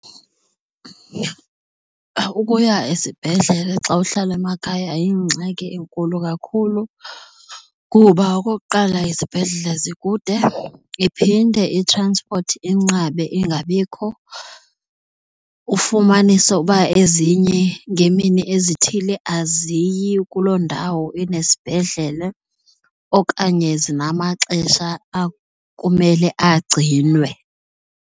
Ukuya esibhedlele xa uhlala emakhaya yingxaki enkulu kakhulu kuba okokuqala, izibhedlele zikude iphinde itranspothi inqabe ingabikho ufumanise uba ezinye ngemini ezithile aziyi kuloo ndawo inesibhedlele okanye zinamaxesha akumele agcinwe.